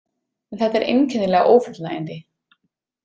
En þetta er einkennilega ófullnægjandi.